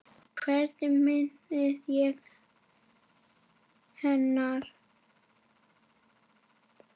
Hvernig minnist ég hennar?